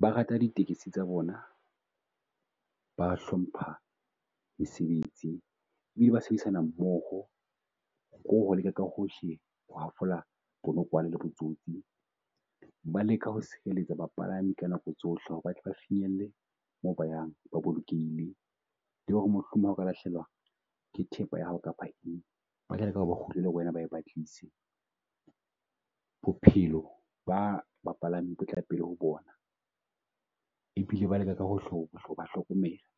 Ba rata di tekesi tsa bona, ba a hlompha mesebetsi e bile ba sebedisana mmoho. Leka ka hohle ho hafola bonokwane le botsotsi ba leka ho sireletsa bapalami ka nako tsohle ho re ba tle ba finyelle mo ba yang ba bolokehile. Le ho re mohlomong ha o ka lahlahelwa ke thepa ya hao kapa eng. Ba tla leka ho re ba kgutlele ho wena ba e batlisise. Bophelo ba bapalami bo tla pele ho bona, e bile ba leka ka hohle ho ho ba hlokomela